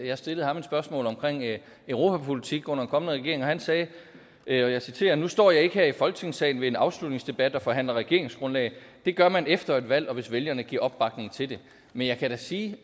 jeg stillede ham et spørgsmål om europapolitik under en kommende regering han sagde og jeg citerer nu står jeg ikke her i folketingssalen ved en afslutningsdebat og forhandler regeringsgrundlag det gør man efter et valg og hvis vælgerne giver opbakning til det men jeg kan da sige